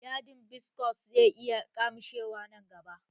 Yadin biskos zai iya ƙyamushewa nan gaba